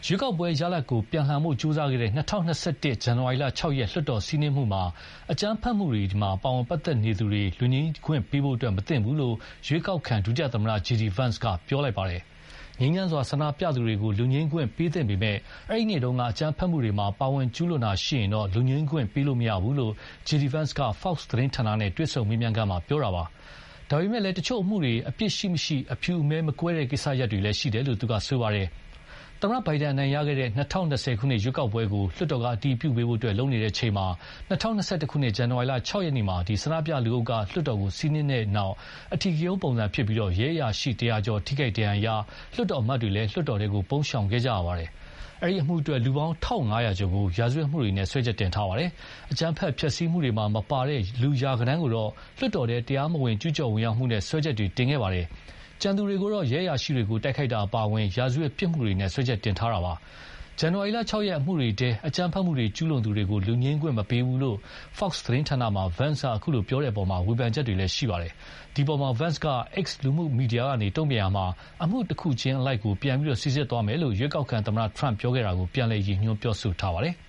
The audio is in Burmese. ရွေးကောက်ပွဲရလာဒ်ကို ပြန်လှန်ဖို့ ကြိုးစားခဲ့တဲ့ ၂၀၂၁ ဇန်နဝါရီ ၆ ရက် လွှတ်တော်စီးနင်းမှုမှာ အကြမ်းဖက်မှုတွေမှာ ပါဝင်ပတ်သက်သူတွေကို လွတ်ငြိမ်ခွင့်ပေးဖို့မသင့်ဘူးလို့ ရွေးကောက်ခံဒုသမ္မတ JD Vance က ပြောလိုက်ပါတယ်။ ငြိမ်းချမ်းစွာဆန္ဒပြသူတွေကို လွတ်ငြိမ်းခွင့်ပေးသင့်ပေမယ့် အဲဒီ့နေ့က အကြမ်းဖက်မှုတွေမှာ ပါဝင်ကျူးလွန်တာရှိရင်တော့ လွတ်ငြိမ်းခွင့်ပေးလို့မရဘူးလို့ JD Vance က Fox သတင်းဌာနနဲ့ တွေ့ဆုံမေးမြန်းခန်းမှာ ပြောခဲ့တာပါ။ ဒါပေမယ့်လည်း တချို့အမှုတွေ အပြစ်ရှိမရှိ အဖြူအမဲမကွဲတဲ့ ကိစ္စတွေလည်း ရှိတယ်လို့ ပြောပါတယ်။ သမ္မတ Biden အနိုင်ရခဲ့တဲ့ ၂၀၂၀ ခုနှစ်ရွေးကောက်ပွဲကို လွှတ်တော်က အတည်ပြုပေးဖို့ လုပ်နေချိန်မှာ ၂၀၂၁ ခုနှစ် ဇန်နဝါရီ ၆ရက်မှာ ဆန္ဒပြလူအုပ်က လွှတ်တော်ကို စီးနင်းတဲ့နောက်၊ အဓိကရုဏ်းပုံစံဖြစ်ပြီး ရဲအရာရှိ ၁၀၀ ကျော် ထိခိုက်ဒဏ်ရာရပြီး လွှတ်တော်အမတ်တွေလည်း လွှတ်တော်ထဲ ပုန်းရှောင်ခဲ့ကြရပါတယ်။ အဲဒီအမှုအတွက် လူပေါင်း ၁၅၀၀ ကျော်ကို ရာဇဝတ်မှုတွေနဲ့ စွဲချက်တင်ခဲ့တာပါ။ အကြမ်းဖက် ဖျက်ဆီးမှုတွေမှာ မပါတဲ့ လူရာဂဏန်းကိုတော့ လွှတ်တော်ထဲတရားမဝင် ကျူးကျော်ဝင်ရောက်မှုနဲ့ စွဲချက်တွေ တင်ခဲ့ပါတယ်။ ကျန်သူတွေကိုတော့ ရဲအရာရှိတွေကို တိုက်ခိုက်တာအပါအဝင် ရာဇဝတ်ပြစ်မှုတွေနဲ့ စွဲချက်တင်ခဲ့တာပါ။ ဇန်နဝါရီ ၆ အမှုတွေထဲ အကြမ်းဖက်မှုတွေကျူးလွန်သူတွေကို လွတ်ငြိမ်းခွင့်မပေးဘူးလို့ Fox သတင်းဌာနမှာ Vance အခုလို ပြောတဲ့အပေါ် ဝေဖန်ချက်တွေလည်း ရှိခဲ့ပါတယ်။ ဒီအပေါ်မှာ Vance က X လူမှုမီဒီယာကနေ တုန့်ပြန်ရာမှာ အမှုတခုချင်းအလိုက်ကို ပြန်စိစစ်သွားမယ်လို့ ရွေးကောက်ခံသမ္မတ Trump ပြောခဲ့တာကို ပြန်ရည်ညွှန်းပြောဆိုပါတယ်။